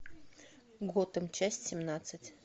готэм часть семнадцать